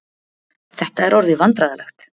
Þetta er orðið vandræðalegt.